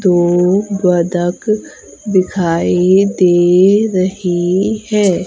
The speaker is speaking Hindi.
दो बतख दिखाई दे रही है।